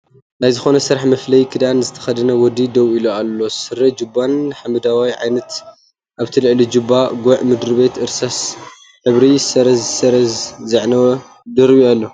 ናይ ዝኾነ ስራሕ መፍለይ ክዳን ዝተክደነ ወዲ ደው ኢሉ ኣሎ፡ ስረን ጁባን ሐመደወታይ ዓይነት ኣብቲ ልዕሊ ጁባ ጉዕ ምድርቤቱ እርሳስ ሕብሪ ሰረዝ ሰረዝ ዘዐወፐ ደሮቢ ኣሎ ።